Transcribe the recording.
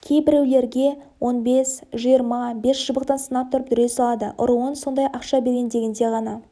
кейбіреулерге он бес жиырма бес шыбықтан санап тұрып дүре салады ұруын сондай ақша берейін дегенде ғана